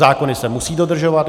Zákony se musí dodržovat.